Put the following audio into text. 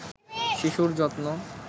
শিশুর যত্ন